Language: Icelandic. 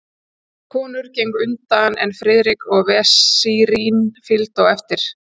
Konurnar gengu á undan, en Friðrik og vesírinn fylgdu á eftir.